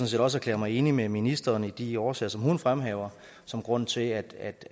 set også erklære mig enig med ministeren i de årsager som hun fremhæver som grund til at